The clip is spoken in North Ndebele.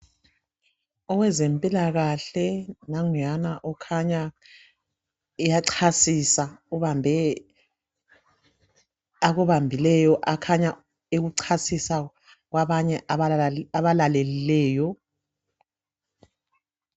Owezempilakahle nanguyana ukhanya uyachasisisa ubambe akubambileyo akhanya ekuchasisa kwabanye abalalelileyo